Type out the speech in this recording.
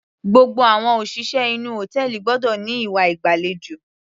Gbogbo àwọn òṣìṣẹ́ inú hòtẹ́ẹ̀lì gbọ́dọ̀ ní ìwà ìgbàlejò.